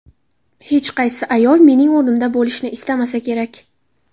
Hech qaysi ayol mening o‘rnimda bo‘lishni istamasa kerak.